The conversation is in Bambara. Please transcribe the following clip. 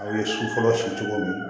Aw ye si fɔlɔ sigi cogo min